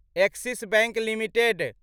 axis Bank limited